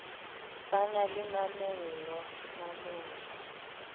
ba na le mamello mamello